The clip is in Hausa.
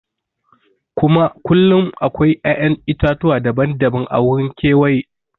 Kullum akwai ya'yan itatuwa daban-daban a wurin kewaye.